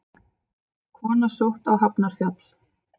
Kona sótt á Hafnarfjall